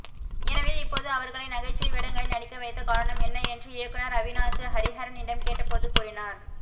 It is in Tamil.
எனவே இப்போது அவரகளை நகைச்சுவை வேடங்களில் நடிக்க வைத்த காரணம் என்ன என்று இயக்குநர் அவினாஷ் ஹரிஹரனிடம் கேட்டபோது கூறினார்